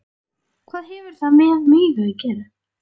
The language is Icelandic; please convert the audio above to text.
Hvað hefur það með mig að gera?